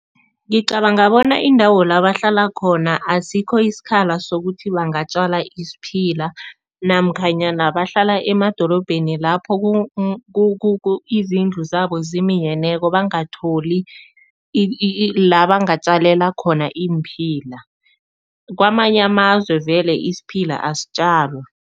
Ngicabanga bona indawo la bahlala khona asikho isikhala sokuthi bangatjala isiphila namkhanyana bahlala emadorobheni lapho izindlu zabo zeminyeneko, bangatholi la bangatjalela khona iimphila. Kwamanye amazwe vele isiphila asitjalwa.